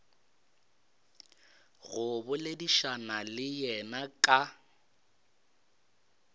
go boledišana le yena ka